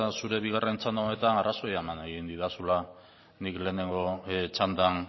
zure bigarren txanda honetan arrazoia eman didazula nik lehenengo txandan